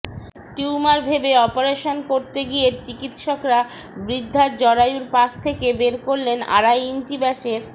tumour ভেবে operation করতে গিয়ে চিকিৎসকরা বৃদ্ধার জরায়ুর পাশ থেকে বের করলেন আড়াই ইঞ্চি ব্যাসের